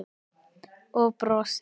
Og brosir.